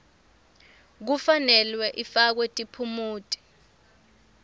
kufanele ifakwe tiphumuti